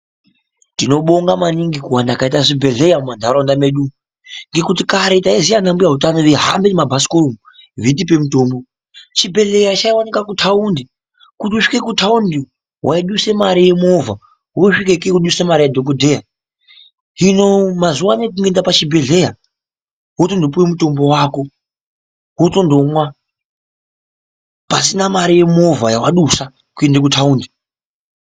Tinobonga maningi kuwanda kwaita zvibhedleya mumantaraunda medu, ngekuti kare tayiziva ana mbuya hutano beyihambe ngemabhasikoro betipe mitombo. Chibhedleya chayiwanikwa kutaundi, kuti usvike mutaundi wayibudise mari ye moova wosvikeko wobudise mari yadhogodheya. Zvino mazuvaanaya kungoende kuchibhedleya wotono puwe mutombo wako wotonomwa pasina mari yemoova yawadusa kuende kutawundi.